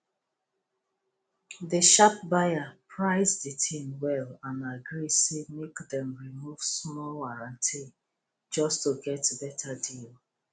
the sharp buyer price the thing well and agree say make dem remove small warranty just to get better deal